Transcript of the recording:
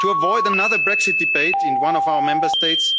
To avoid another Brexit debate in one of our Member States,